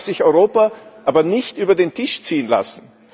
Dabei darf sich Europa aber nicht über den Tisch ziehen lassen.